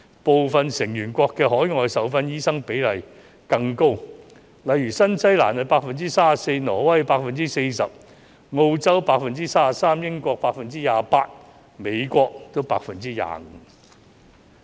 部分成員國的海外受訓醫生比例更高，例如新西蘭 34%、挪威 40%、澳洲 33%、英國 28% 及美國 25%。